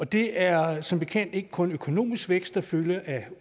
det er som bekendt ikke kun økonomisk vækst der følger af